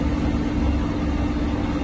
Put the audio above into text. Bilet alarkən diqqətli olsunlar.